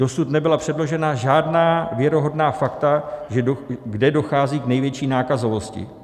Dosud nebyla předložena žádná věrohodná fakta, kde dochází k největší nákazovosti.